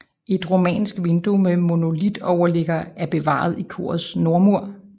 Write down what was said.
Et romansk vindue med monolitoverligger er bevaret i korets nordmur